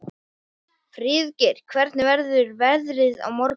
Friðgeir, hvernig verður veðrið á morgun?